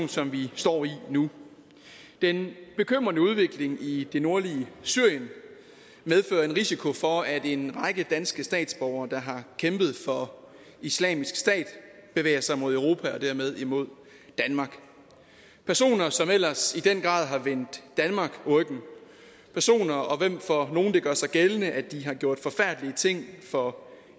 som vi står i nu den bekymrende udvikling i det nordlige syrien medfører en risiko for at en række danske statsborgere der har kæmpet for islamisk stat bevæger sig imod europa og dermed imod danmark personer som ellers i den grad har vendt danmark ryggen personer om hvem det for nogle gør sig gældende at de har gjort forfærdelige ting for